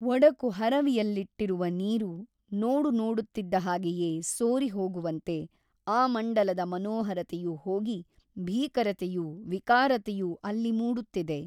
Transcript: ಒಡಕು ಹರವಿಯಲ್ಲಿಟ್ಟಿರುವ ನೀರು ನೋಡುನೋಡುತ್ತಿದ್ದ ಹಾಗೆಯೇ ಸೋರಿ ಹೋಗುವಂತೆ ಆ ಮಂಡಲದ ಮನೋಹರತೆಯು ಹೋಗಿ ಭೀಕರತೆಯೂ ವಿಕಾರತೆಯೂ ಅಲ್ಲಿ ಮೂಡುತ್ತಿದೆ.